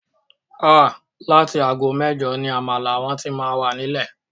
Áà!! Láti aago mẹ́jọ ni àmàlà wọn tí máa wà nílẹ̀